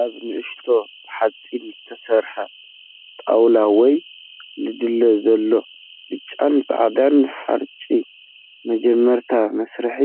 ኣብ ንእሽቶ ብሓጺን ዝተሰርሐ ጣውላ ወይ ላድል ዘሎ ብጫን ጻዕዳን ሓርጭ፡ መጀመርታ መስርሕ